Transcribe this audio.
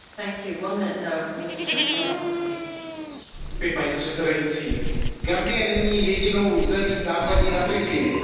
Paní předsedající, Gambie není jedinou zemí západní Afriky, ve které je bezpečnost a stabilita stále větším problémem.